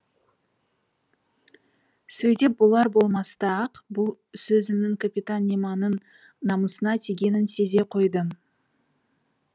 сөйдеп болар болмаста ақ бұл сөзімнің капитан немоның намысына тигенін сезе қойдым